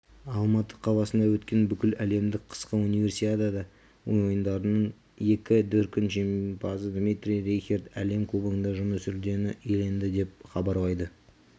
алматы қаласында өткен бүкіләлемдік қысқы универсиада ойындарының екі дүркін жеңімпазы дмитрий рейхерд әлем кубогында күміс жүлдені иеленді деп хабарлайды